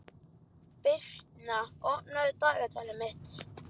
Birtna, opnaðu dagatalið mitt.